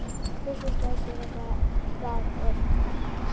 Bjössi slær sér á lær og hlær.